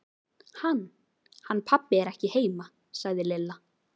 Hann. hann pabbi er ekki heima sagði Lilla.